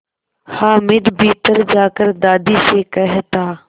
हामिद भीतर जाकर दादी से कहता